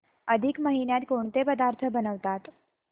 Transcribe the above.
अधिक महिन्यात कोणते पदार्थ बनवतात